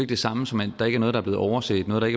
det samme som at der ikke er noget der blevet overset noget der